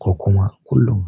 Ko kuma kullun?